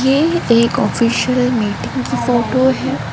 यह एक official meeting की फोटो है।